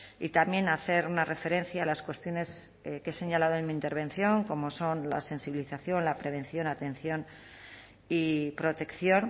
y también hacer una referencia a las cuestiones que he señalado en mi intervención como son la sensibilización la prevención atención y protección